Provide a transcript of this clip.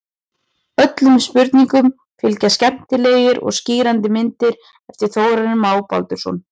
Öllum spurningum fylgja skemmtilegar og skýrandi myndir eftir Þórarinn Má Baldursson.